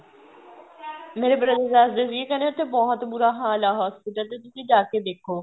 ਮੇਰੇ brother ਦੱਸਦੇ ਸੀ ਕਹਿੰਦੇ ਉਥੇ ਬਹੁਤ ਬੂਰਾ ਹਾਲ ਆ hospital ਚ ਤੁਸੀਂ ਜਾਕੇ ਦੇਖੋ